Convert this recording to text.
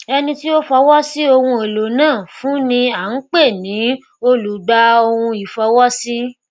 ẹni tí fọwọ sí ohun èlò náà fún ni à ń pè ní olùgbàohunìfọwọsí